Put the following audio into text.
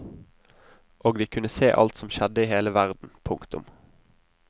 Og de kunne se alt som skjedde i hele verden. punktum